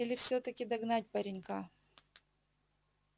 или всё-таки догнать паренька